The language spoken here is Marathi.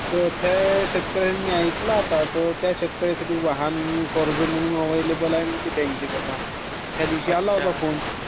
तो शेतकऱ्यांनी ऐकला आत..ते शेतकर्यांसाठी वाहन कर्ज म्हणून एवेलेबल आह नी बॅंकेमधी आता ..त्यादीवशी आल्ता फोन